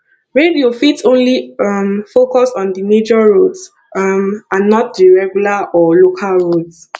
radio fit only um focus on di major roads um and not the regular or local roads